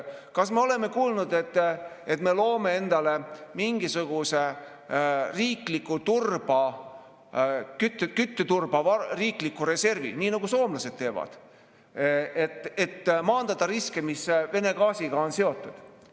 Kas me oleme kuulnud, et me loome endale mingisuguse kütteturba riikliku reservi, nii nagu soomlased teevad, et maandada riske, mis on Vene gaasiga seotud?